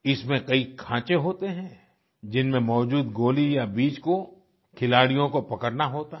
इसमें कई खांचे होते हैं जिनमें मौजूद गोली या बीज को खिलाडियों को पकड़ना होता है